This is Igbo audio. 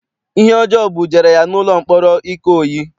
Ihe ọjọọ bujere ya n'ụlọ mkpọrọ Ikoyi.